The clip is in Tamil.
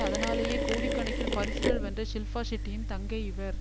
அதனாலேயே கோடிக்கணக்கில் பரிசுகள் வென்ற ஷில்பா ஷெட்டியின் தங்கை இவர்